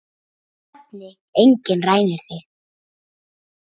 Þeim svefni enginn rænir þig.